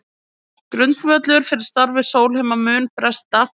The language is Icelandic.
Grundvöllur fyrir starfi Sólheima muni bresta